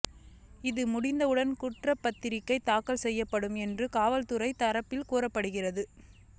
இது முடிந்தவுடன் குற்றப்பத்திரிகை தாக்கல் செய்யப்படும் என்று காவல்துறை தரப்பில் கூறப்படுகிறது